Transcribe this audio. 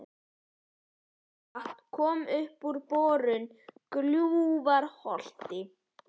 Heitt vatn kom upp við borun í Gljúfurárholti í